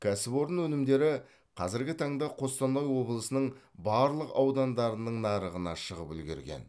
кәсіпорын өнімдері қазіргі таңда қостанай облысының барлық аудандарының нарығына шығып үлгерген